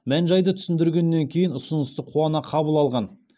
мән жайды түсіндіргеннен кейін ұсынысты қуана қабыл алған